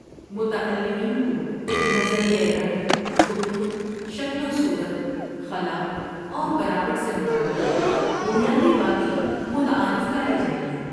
متعلمین کو نظریۂ رنگ، خطوط، شکل و صورت، خلا اور بناوٹ سے متعلق بنیادی باتیں متعارف کرائی جائیں گی۔